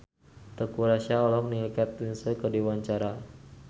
Teuku Rassya olohok ningali Kate Winslet keur diwawancara